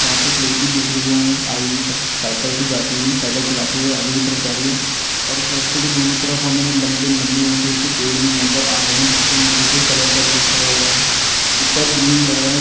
वहाँ पे हमें एक लड़की दिख रही है। हमें आगे की तरफ साइकिल से जाती हुई साइकिल चलाते हुए आगे की तरफ जा रही है। उस रास्ते के दोनों तरफ हमें लम्बे-लम्बे ऊँचे-ऊँचे पेड़ नजर आ रहै हैँ। जिसको नीचे से कलर करा हुआ है ऊपर ग्रीन कलर है।